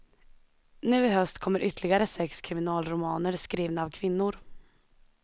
Nu i höst kommer ytterligare sex kriminalromaner skrivna av kvinnor.